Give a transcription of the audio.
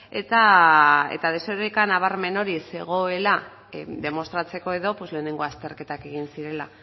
eta desoreka nabarmen hori zegoela demostratzeko edo lehenengo azterketak egin zirela